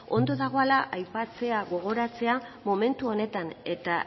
ondo dagoala aipatzea gogoratzea momentu honetan eta